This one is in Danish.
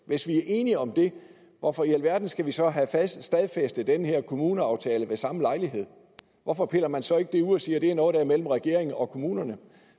hvis vi er enige om det hvorfor i alverden skal vi så have stadfæstet den her kommuneaftale ved samme lejlighed hvorfor piller man så ikke det ud og siger at det er noget der er mellem regeringen og kommunerne